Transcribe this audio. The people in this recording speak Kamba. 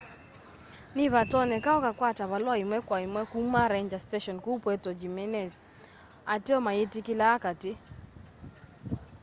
ni vatonyeka ukakwata valua imwe kwa imwe kuma ranger station kuu puerto jimenez ateo mayitikilaa kaati